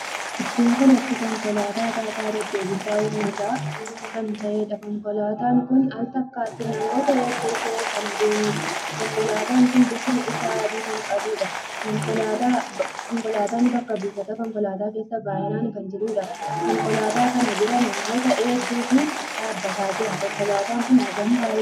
Iddoo kanatti konkolaataa taataa deddeebisa uummata kan taheedha. konkolaataan kun al takkaatti namoota hedduu fehee adeemuudha. konkolaataan kun bifti isaa adii kan qabuudha. konkolaataa bakka buufata konkoolaataa keessa baay'inaan kan jiruudha. konkolaataa kan biraa namoota hedduutu dhaabbataa jira. konkolaataa kun hagam baay'ata!